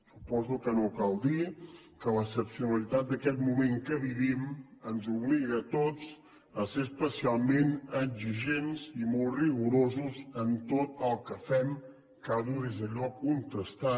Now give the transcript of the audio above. suposo que no cal dir que l’excepcionalitat d’aquest moment en què vivim ens obliga a tots a ser especialment exigents i molt rigorosos en tot el que fem cada un des del lloc on està